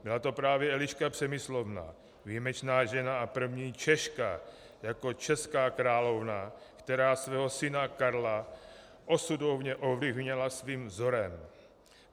Byla to právě Eliška Přemyslovna, výjimečná žena a první Češka jako česká královna, která svého syna Karla osudově ovlivnila svým vzorem.